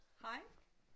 Hej